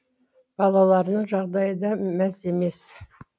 балаларының жағдайы да мәз емес